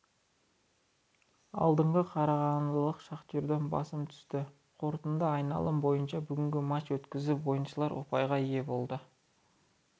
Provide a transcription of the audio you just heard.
алдыңғы қарағандылық шахтерден басым түсті қорытынды айналым бойынша бүгінгі матч өткізіп ойыншылар ұпайға ие болды